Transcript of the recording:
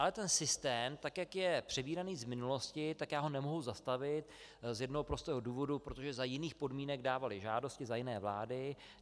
Ale ten systém, tak jak je přebíraný z minulosti, tak já ho nemohu zastavit z jednoho prostého důvodu, protože za jiných podmínek dávali žádosti, za jiné vlády.